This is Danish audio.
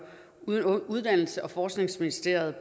uddannelses og forskningsministeriet